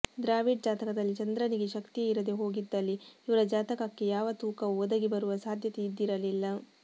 ದ್ರಾವಿಡ್ ಜಾತಕದಲ್ಲಿ ಚಂದ್ರನಿಗೆ ಶಕ್ತಿಯೇ ಇರದೇ ಹೋಗಿದ್ದಲ್ಲಿ ಇವರ ಜಾತಕಕ್ಕೆ ಯಾವ ತೂಕವೂ ಒದಗಿ ಬರುವ ಸಾಧ್ಯತೆ ಇದ್ದಿರಲಿಲ್ಲ